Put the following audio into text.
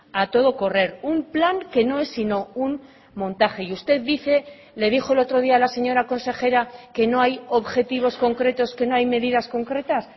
a todo correr un plan que no es sino un montaje y usted dice le dijo el otro día a la señora consejera que no hay objetivos concretos que no hay medidas concretas